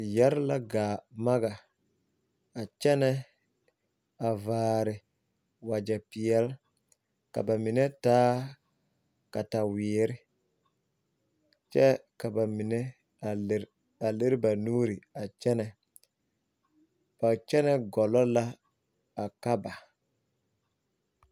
Yire la gaa maka kyɛnɛ a vaare wagyɛ peɛle ka ba mine taa kataweere kyɛ ka ba mine a lere ba nuuri kyɛnɛ ba kyɛnɛ gɔlɔ la a Kaaba.